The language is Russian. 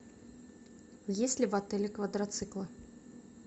есть ли в отеле квадроциклы